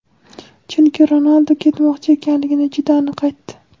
chunki Ronaldu ketmoqchi ekanligini juda aniq aytdi.